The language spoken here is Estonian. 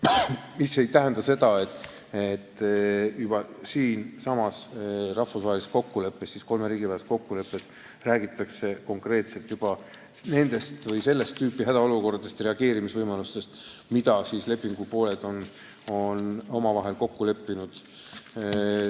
Mis ei tähenda seda, et sellessamas rahvusvahelises kokkuleppes, kolme riigi vahelises kokkuleppes ei räägitaks konkreetselt sellist tüüpi hädaolukordadest ja reageerimisvõimalustest, milles on lepingupooled omavahel kokku leppinud.